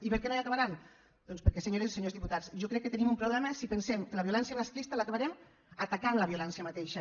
i per què no l’acabaran doncs perquè senyores i senyors diputats jo crec que tenim un problema si pensem que la violència masclista l’acabarem atacant la violència mateixa